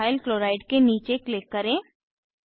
ethyl chloride के नीचे click करें